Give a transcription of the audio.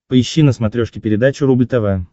поищи на смотрешке передачу рубль тв